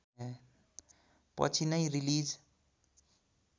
पछि नै रिलिज